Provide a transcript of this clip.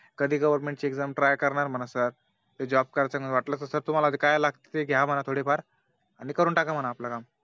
कधी Government exam try करणार म्हण Sir ते Job करायचे आहे वाटलं तर Sir तुम्हाला काय लागत ते घ्या थोडे फार आणि करून टाका म्हणा आपलं काम